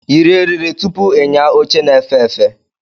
Yiri eriri tupu ịnya oche na-efe efe!